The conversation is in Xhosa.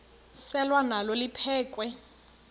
selwa nalo liphekhwe